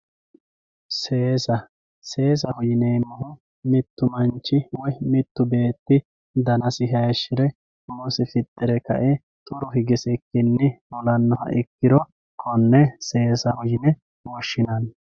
seesa seesaho yineemmohu mittu manchi woyi mittu beetti danasi hayiishshire umosi fixxire kae xuru higisikkinni fulannoha ikkiro konne seesago yine woshshinanni.